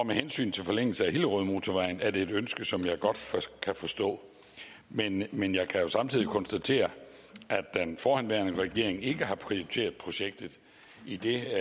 med hensyn til forlængelsen af hillerødmotorvejen er det et ønske som jeg godt kan forstå men men jeg kan jo samtidig konstatere at den forhenværende regering ikke har prioriteret projektet idet det